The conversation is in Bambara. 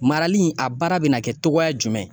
Marali in a baara bɛ na kɛ togoya jumɛn?